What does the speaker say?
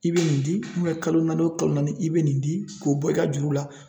I bɛ nin di kalo naani kalo naani i bɛ nin di k'o bɔ i ka juru la